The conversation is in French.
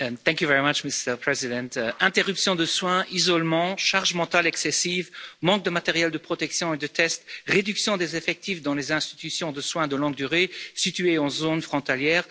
Monsieur le Président, interruption des soins, isolement, charge mentale excessive, manque de matériel de protection et de tests, réduction des effectifs dans les institutions de soins de longue durée situées en zone frontalière